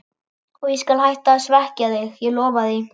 Og ég skal hætta að svekkja þig, ég lofa því.